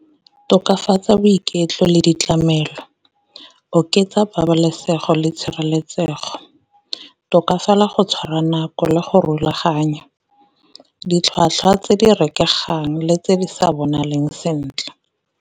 Tokafatsa boiketlo le ditlamelo, oketsa pabalesego le tshireletsego, tokafala go tshwara nako le go rulaganya, ditlhwatlhwa tse di rekegang le tse di sa bonaleng sentle.